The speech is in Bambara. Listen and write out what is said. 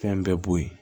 Fɛn bɛɛ bo ye